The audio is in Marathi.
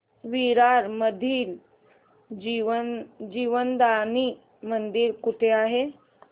विरार मधील जीवदानी मंदिर कुठे आहे